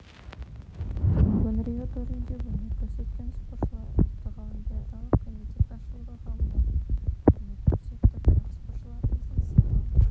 бүгін рио төрінде өнер көрсеткен спортшыларды ұлттық олимпиадалық комитет басшылығы қабылдап құрмет көрсетті бірақ спортшыларымыздың сағы